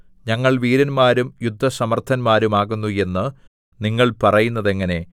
ഞങ്ങൾ വീരന്മാരും യുദ്ധസമർത്ഥന്മാരും ആകുന്നു എന്ന് നിങ്ങൾ പറയുന്നതെങ്ങനെ